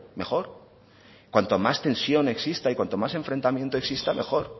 mejor cuanta más tensión exista y cuanto más enfrentamiento exista mejor